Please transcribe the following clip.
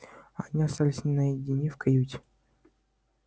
они остались наедине в каюте